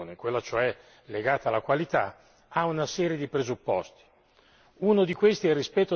La sfida alta, la competizione, quella cioè legata alla qualità, ha una serie di presupposti.